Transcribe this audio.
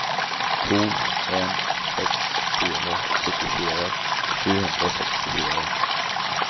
to en seks fire syttifire sju hundre og sekstifire